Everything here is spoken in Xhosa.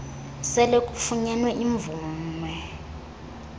sele kufunyenwe imvume